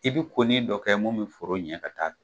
I bɛ ko nin dɔ kɛ mun bɛ foro ɲɛ ka ta'a fɛ.